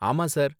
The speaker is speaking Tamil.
ஆமா சார்